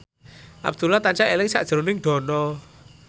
Abdullah tansah eling sakjroning Dono